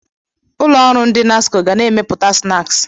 Ụlọ ọrụ ndị NASCO ga na-emepụta snaaksi.